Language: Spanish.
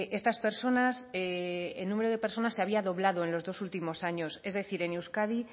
estas personas el número de personas se había doblado en los dos últimos años es decir en euskadi